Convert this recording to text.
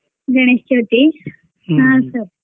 Ganesh Chauthi sir .